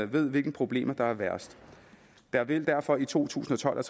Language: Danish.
ved hvilke problemer der er værst der vil derfor i to tusind og tolv og